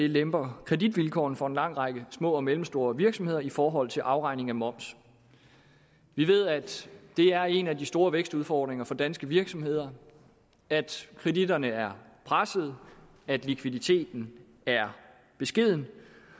lemper kreditvilkårene for en lang række små og mellemstore virksomheder i forhold til afregning af moms vi ved at det er en af de store vækstudfordringer for danske virksomheder at kreditterne er presset at likviditeten er beskeden